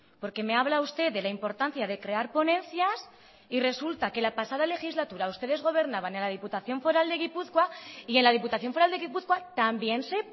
porque me habla usted de la importancia de crear ponencias y resulta que la pasada legislatura ustedes gobernaban en la diputación foral de gipuzkoa y en la diputación foral de gipuzkoa también se